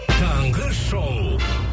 таңғы шоу